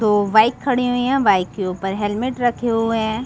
दो बाइक खड़े हुए है बाइक के ऊपर हेलमेट रखे हुए है।